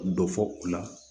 Dɔ fɔ u la